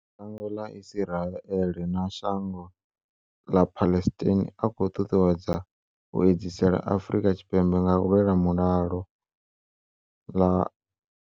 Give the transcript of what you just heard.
Shango ḽa Israel na shango ḽa Palestine a khou ṱuṱuwedzwa u edzisela Afrika Tshipembe nga u lwela mulalo.